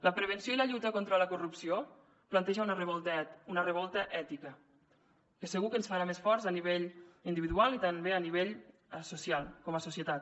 la prevenció i la lluita contra la corrupció planteja una revolta ètica que segur que ens farà més forts a nivell individual i també a nivell social com a societat